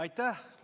Aitäh!